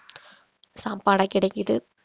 சாப்பாடா கிடைக்குது